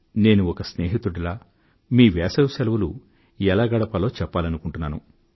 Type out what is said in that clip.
నేను ఒక స్నేహితుడిలా మీ వేసవి శెలవులు ఎలా గడపాలో చెప్పాలనుకుంటున్నాను